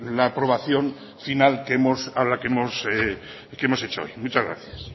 la aprobación final que hemos hecho hoy muchas gracias